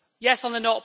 Yes on the